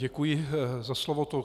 Děkuji za slovo.